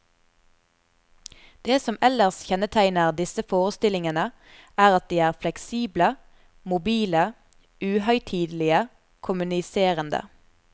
Det som ellers kjennetegner disse forestillingene er at de er fleksible, mobile, uhøytidelige, kommuniserende.